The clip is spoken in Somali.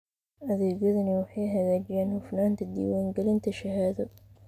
Adeegyadani waxay hagaajiyaan hufnaanta diiwaangelinta shahaado.